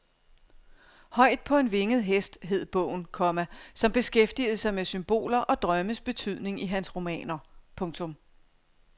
Højt på en vinget hest hed bogen, komma som beskæftigede sig med symboler og drømmes betydning i hans romaner. punktum